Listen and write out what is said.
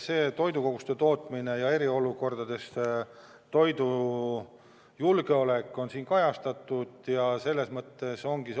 Toidukoguste tootmine ja eriolukordade ajal toidujulgeolek on arengukavas kajastatud.